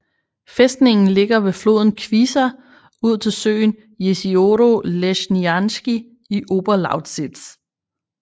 Fæstningen ligger ved floden Kwisa ud til søen Jezioro Leśniańskie i Oberlausitz